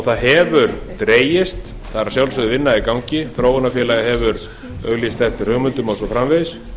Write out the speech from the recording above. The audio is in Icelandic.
það hefur dregist það er að sjálfsögðu vinna í gangi þróunarfélagið hefur auglýst eftir hugmyndum og svo framvegis